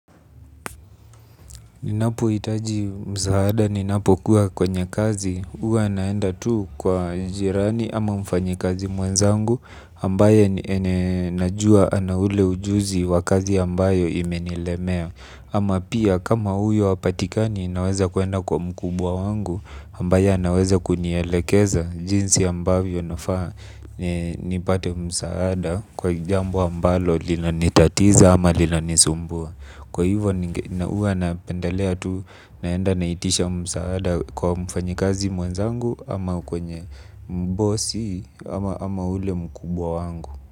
Ninapo itaji msaada ninapo kuwa kwenye kazi uwa naenda tuu kwa jirani ama mfanyi kazi mwenzangu ambaye najua anaule ujuzi wakazi ambayo imenilemea. Ama pia kama uyo hapatikani naweza kuenda kwa mkubwa wangu ambaye anaweza kunielekeza jinsi ambayo nafaa ni nipate msaada kwa jambo ambalo lina nitatiza ama lina nisumbua. Kwa hivyo huwa na pendalea tu naenda na itisha msaada kwa mfanyikazi mwenzangu ama kwenye mbosi ama ule mkubwa wangu.